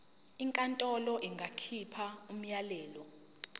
inkantolo ingakhipha umyalelo